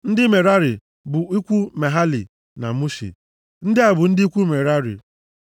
Ndị Merari bụ ikwu Mahali na Mushi. Ndị a bụ ndị ikwu Merari.